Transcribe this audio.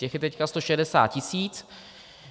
Těch je teď 160 tisíc.